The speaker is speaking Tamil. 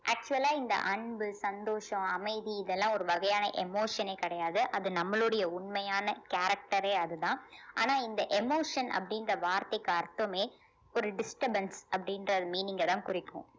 actual ஆ இந்த அன்பு சந்தோஷம் அமைதி இதெல்லாம் ஒரு வகையான emotion ஏ கிடையாது அது நம்மளுடைய உண்மையான character ஏ அதுதான் ஆனா இந்த emotion அப்படின்ற வார்த்தைக்கு அர்த்தமே ஒரு disturbance அப்படின்ற meaning அ தான் குறிக்கும்